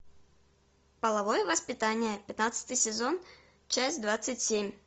половое воспитание пятнадцатый сезон часть двадцать семь